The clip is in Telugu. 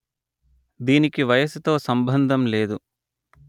దీనికి వయసుతో సంభందం లేదు